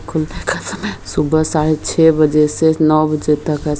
खुलने का समय सुबह साढ़े छै बजे से नौ बजे तक है।